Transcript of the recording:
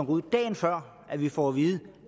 ud dagen før vi får at vide